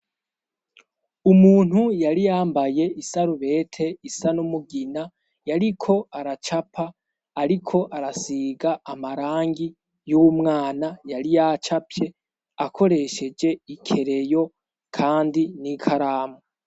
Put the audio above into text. Umuntu yari yambaye isarubete isa n'umugina, yariko aracapa, ariko arasiga amarangi y'umwana yari yacapye, akoresheje ikereyo kandi n'ikaramu.